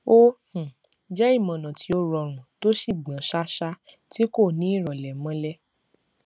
ó um jẹ imọọnà tí ó rọrùn tó sì gbọn ṣáṣá tí kò ni irọlẹ mọlè